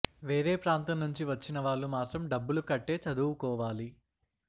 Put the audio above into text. వేరే ప్రాంతం నుంచి వచ్చిన వాళ్లు మాత్రం డబ్బులు కట్టే చదువుకోవాలి